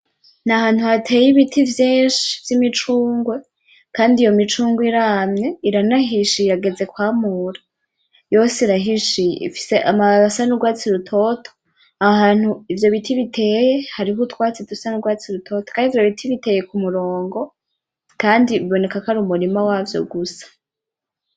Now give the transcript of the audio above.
N'ahantu hateye ibiti vyinshi vyimicungwe, kandi iyo micungwe iramye iranahishiye iragezwe kwamurwa yose irahishiye ifise amababi asa nurwatsi rutoto, ahantu ivyo biti biteye hari utwatsi dusa nutwatsi dutoto, kandi ivyo biti biteye kumurongo, kandi biboneka ko ari umurima wavyo gusa.